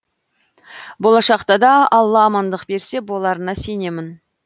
болашақта да алла амандық берсе боларына сенемін